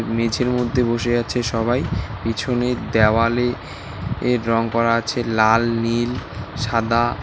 মেঝের মধ্যে বসে আছে সবাই পিছনে দেওয়ালে এ রং করা আছে লাল নীল সাদা।